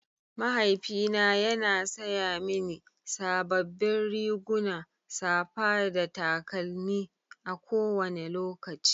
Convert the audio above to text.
Mahaifina yana saya mini sababbin riguna, safa da takalmi a kowane lokaci.